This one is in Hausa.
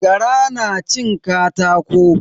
Gara na cin katako.